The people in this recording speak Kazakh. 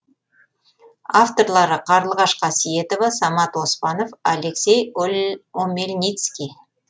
авторлары қарлығаш қасиетова самат оспанов алексей омельницкий